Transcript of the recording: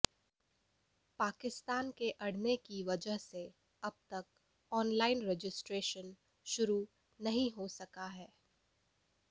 पाकिस्तान के अड़ने की वजह से अब तक ऑनलाइन रजिस्ट्रेशन शुरू नहीं हो सका है